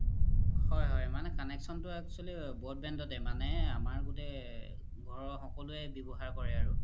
হয় হয় connection তু মানে actually broadband তে মানে আমাৰ গুতেই ঘৰৰ সকলোৱে ৱ্যবহাৰ কৰে আৰু